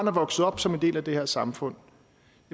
er vokset op som en del af det her samfund